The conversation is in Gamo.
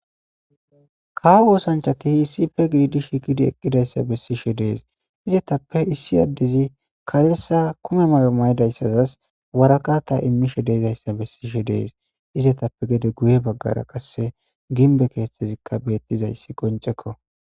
kaa woosanchati hiissi pe gididi shi kidi eqqidayssa bessishe dees izetappe issi addezi ka7elsa kume may7o maydayssazas waraqata immishe deezayssa bessishe dees izetappe gede guye baggara qasse ginbe keeththezikka beettizayssi qoncekko